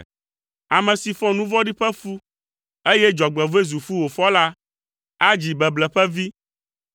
Ame si fɔ nu vɔ̃ɖi ƒe fu, eye dzɔgbevɔ̃e zu fu wòfɔ la, adzi beble ƒe vi.